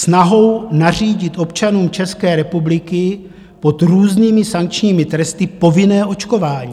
Snahou nařídit občanům České republiky pod různými sankčními tresty povinné očkování.